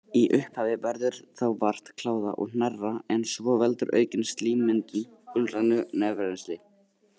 Í upphafi verður þá vart kláða og hnerra en svo veldur aukin slímmyndun gulgrænu nefrennsli.